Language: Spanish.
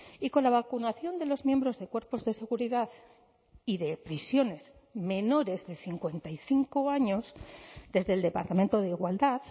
y con la vacunación de los miembros de cuerpos de seguridad y de prisiones menores de cincuenta y cinco años desde el departamento de igualdad